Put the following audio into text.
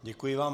Děkuji vám.